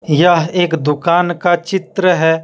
यह एक दुकान का चित्र है।